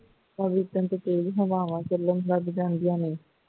ਚੌਬੀ ਘੰਟੇ ਤੇਜ਼ ਹਵਾਵਾਂ ਚੱਲਣ ਲੱਗ ਪਏ ਜਾਂਦੀਆਂ ਨੇ